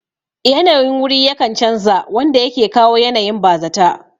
Yanayin wuri yakan chanza wanda yake kawo yanayin bazata